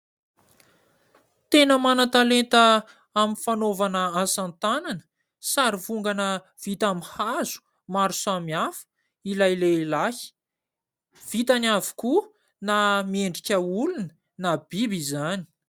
Tena manan-talenta amin'ny fanaovana asa tanana ; sary vongana vita amin'ny hazo maro samihafa ilay lehilahy vitany avokoa na miendrika olona na biby izany.